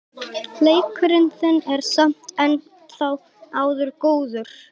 Leikur þinn er samt sem áður góður.